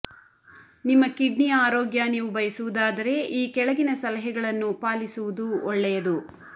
ನಿಮ್ಮ ಕಿಡ್ನಿಯ ಆರೋಗ್ಯ ನೀವು ಬಯಸುವುದಾದರೆ ಈ ಕೆಳಗಿನ ಸಲಹೆಗಳನ್ನು ಪಾಲಿಸುವುದು ಒಳ್ಳೆಯದು